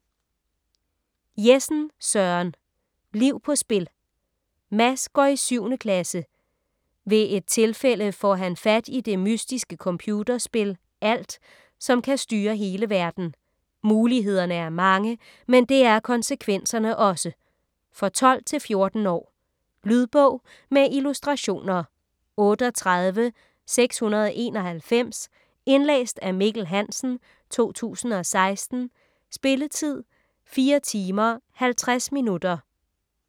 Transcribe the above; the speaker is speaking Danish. Jessen, Søren: Liv på spil Mads går i 7. klasse. Ved et tilfælde får han fat i det mystiske computerspil Alt, som kan styre hele verden. Mulighederne er mange - men det er konsekvenserne også. For 12-14 år. Lydbog med illustrationer 38691 Indlæst af Mikkel Hansen, 2016. Spilletid: 4 timer, 50 minutter.